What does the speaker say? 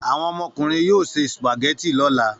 Àwọn ọmọkùnrin yóò se sùpàgẹ́tì lọ́la.